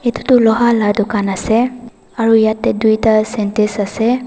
etu tuh loha la dukan ase aro yathe duida syntex ase.